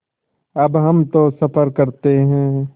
अब हम तो सफ़र करते हैं